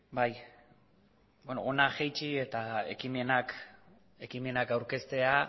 bai beno hona jaitsi eta ekimenak aurkeztea